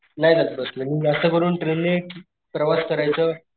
नाही जात बस ने मी जास्त करून ट्रेन ने प्रवास करायच,